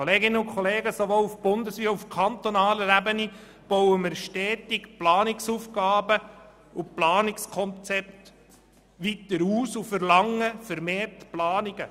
Sowohl auf eidgenössischer als auch auf kantonaler Ebene bauen wir stetig Planungsaufgaben und Planungskonzepte weiter aus und verlangen vermehrt Planungen.